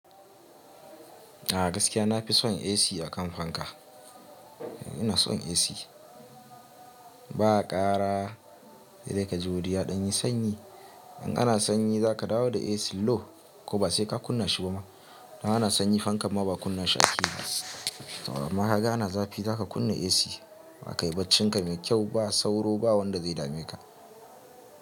A gaskiya na fi son AC a kan fanka. Ina son AC ba ƙara, sai dai ka ji wuri ya ɗan yi sanyi. In ana sanyi za ka dawo da AC low ko ba sai ka kunna shi ba ma. Dan ana sanyi fankan ma ba kunna shi ake ba. Amma kaga ana zafi za ka kunna AC kayi baccinka mai kyau ba sauro ba wanda zai dame ka.